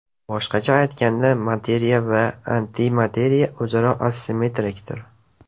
Boshqacha aytganda, materiya va antimateriya o‘zaro asimmetrikdir!